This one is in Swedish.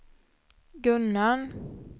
Gunnarn